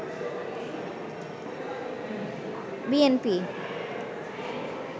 B N P